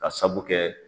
Ka sabu kɛ